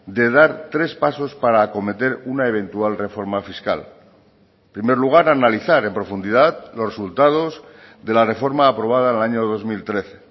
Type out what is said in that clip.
de dar tres pasos para acometer una eventual reforma fiscal en primer lugar analizar en profundidad los resultados de la reforma aprobada en el año dos mil trece